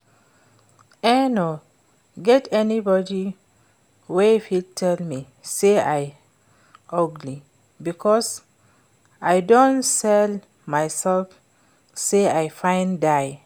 E no get anybody wey fit tell me say I ugly because I don tell myself say I fine die